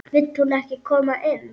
Vill hún ekki koma inn?